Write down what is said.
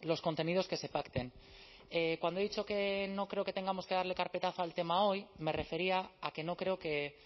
los contenidos que se pacten cuando he dicho que no creo que tengamos que darle carpetazo al tema hoy me refería a que no creo que